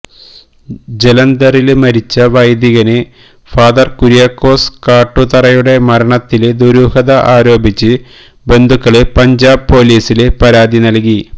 ജലന്ധറില് മരിച്ച വൈദികന് ഫാദര് കുര്യാക്കോസ് കാട്ടുതറയുടെ മരണത്തില് ദരൂഹത ആരോപിച്ച് ബന്ധുക്കള് പഞ്ചാബ് പൊലീസില് പരാതി നല്കി